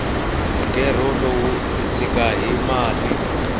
mugerho wulo ndzi tshiki hi mati